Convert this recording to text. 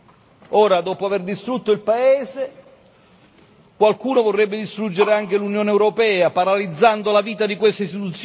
Ora, dopo aver distrutto il paese, qualcuno vorrebbe distruggere anche l'Unione europea, paralizzando la vita di queste istituzioni.